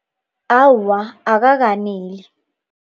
Awa, akakaneli.